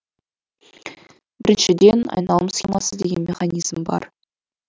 біріншіден айналым схемасы деген механизм бар